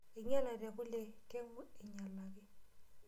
Einyalate kule keng'u ainyalaki.